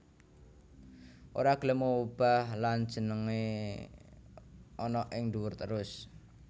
Ora gelem obah lan senengé ana ing duwur terus